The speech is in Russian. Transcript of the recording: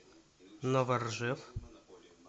новоржев